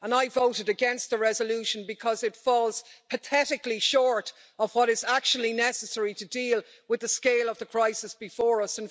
I voted against the resolution because it falls pathetically short of what is actually necessary to deal with the scale of the crisis before us.